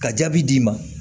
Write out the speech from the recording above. Ka jaabi d'i ma